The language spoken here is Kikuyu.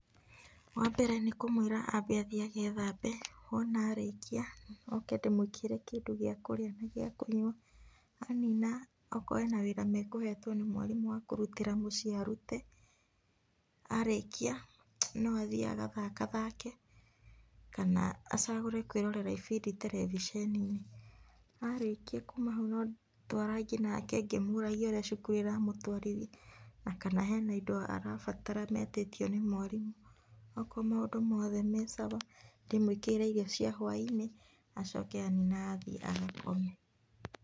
Wambere nĩkũmwĩra ambe athiĩ agethambe, wona arĩkia oke ndĩmwĩkĩrĩre kĩndũ gĩa kũrĩa na gĩakũnywa, anina okorwo ena wĩra mekũhetwo nĩ mwarimũ wa kurutĩra muciĩ arute ,arĩkia no athii agathakathake kana acagũre kwĩrorera ibndi televisheni -inĩ, arikia kuuma hau no twarangie nake ngĩmũragia ũrĩa cukuru ĩramũtwarithia na kana hena indo marabatara metĩtio nĩ mwarimũ, akorwo maũndũ mothe me sawa ,ndĩmwĩkĩrĩre irio cia hwainĩ acoke anina athiĩ agakome .